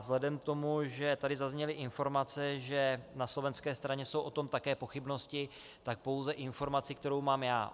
Vzhledem k tomu, že tady zazněly informace, že na slovenské straně jsou o tom také pochybnosti, tak pouze informaci, kterou mám já.